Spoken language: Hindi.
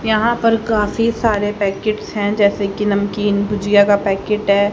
यहां पर काफी सारे पैकिट्स हैं जैसे कि नमकीन भुजिया का पैकिट है।